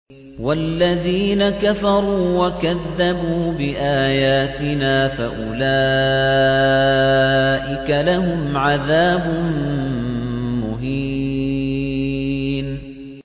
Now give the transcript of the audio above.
وَالَّذِينَ كَفَرُوا وَكَذَّبُوا بِآيَاتِنَا فَأُولَٰئِكَ لَهُمْ عَذَابٌ مُّهِينٌ